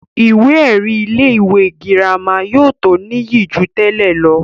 ìwé ẹ̀rí ilé ìwé girama yóò tó níyì jù tẹ́lẹ̀ lọ